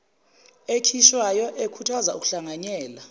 ekhishwayo ekhuthaza ukuhlanganyela